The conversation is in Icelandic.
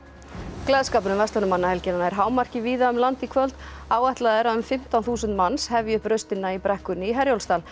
gleðskapur um verslunarmannahelgina nær hámarki víða um land í kvöld áætlað er að um fimmtán þúsund manns hefji upp raustina í brekkunni í Herjólfsdal